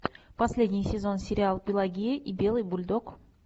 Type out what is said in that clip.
последний сезон сериал пелагея и белый бульдог